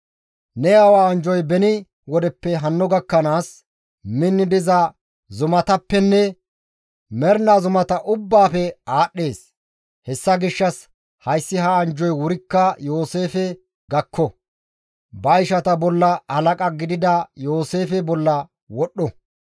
Ne aawa anjjoy beni wodeppe hanno gakkanaas minni diza zumatappenne mernaa zumata ubbaafe aadhdhees. Hessa gishshas hayssi ha anjjoy wurikka Yooseefe gakko. Ba ishata bolla halaqa gidida Yooseefe bolla wodhdho.